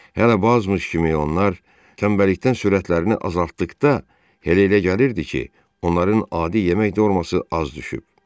Hələ Bak kimi onlar tənbəllikdən sürətlərini azaltdıqda Helə elə gəlirdi ki, onların adi yemək dərmanı az düşüb.